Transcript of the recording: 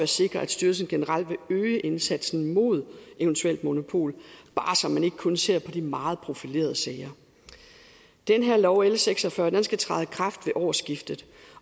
sikre at styrelsen generelt vil øge indsatsen mod eventuelt monopol bare så man ikke kun ser på de meget profilerede sager den her lov l seks og fyrre skal træde i kraft ved årsskiftet